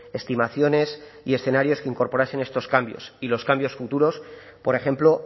estimaciones y escenarios que incorporasen estos cambios y los cambios futuros por ejemplo